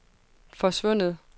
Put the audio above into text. forsvundet